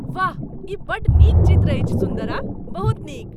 वाह! ई बड्ड नीक चित्र अछि सुन्दरा ! बहुत नीक।